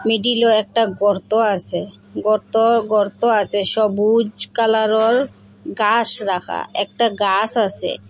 মিডিলও একটা গর্ত আছে গর্ত গর্ত আছে সবুজ কালারোর গাছ রাখা একটা গাছ আছে।